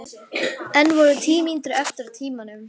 Enn voru tíu mínútur eftir af tímanum.